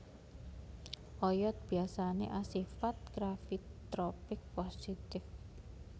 Oyot biyasane asifat gravitropik positif